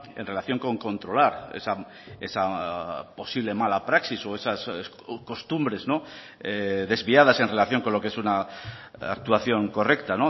en relación con controlar esa posible mala praxis o esas costumbres desviadas en relación con lo que es una actuación correcta